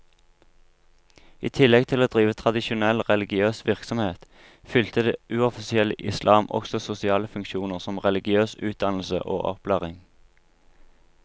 I tillegg til å drive tradisjonell religiøs virksomhet, fylte det uoffisielle islam også sosiale funksjoner som religiøs utdannelse og opplæring.